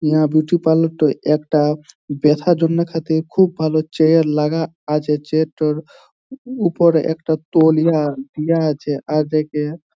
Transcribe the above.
ইহা beauty parlour টোয় একটা ব্যাথার জন্য খাতে খুব চেয়ার লাগা আছে। চেয়ার -টার উপরে একটা তৈলীয়া দেয়া আছে। --